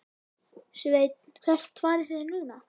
Sveinn: Hvert farið þið núna?